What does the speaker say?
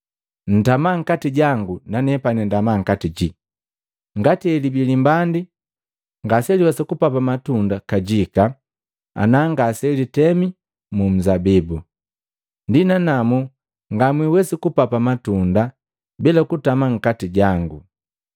Ntama nkati jangu nanepani ndama nkati jii. Ngati helibii limbandi ngaseliwesa kupapa matunda kajika ana ngaselitemi mu nzabibu, ndi nanamu nganhwesi kupapa matunda bila kutama nkati jangu.”